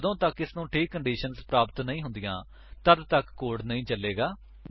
ਜਦੋਂ ਤੱਕ ਇਸਨੂੰ ਠੀਕ ਕੰਡੀਸ਼ੰਸ ਪ੍ਰਾਪਤ ਨਹੀਂ ਹੁੰਦੀਆਂ ਤੱਦ ਤੱਕ ਕੋਡ ਨਹੀ ਚੱਲੇਗਾ